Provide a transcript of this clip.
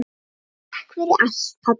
Takk fyrir allt, pabbi.